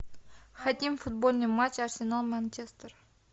хотим футбольный матч арсенал манчестер